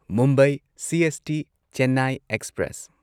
Mumbai CST Chennai express